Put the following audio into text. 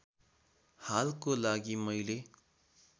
हालको लागि मैले